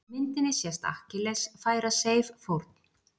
Á myndinni sést Akkilles færa Seif fórn.